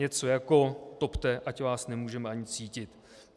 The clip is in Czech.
Něco jako: topte, ať vás nemůžeme ani cítit."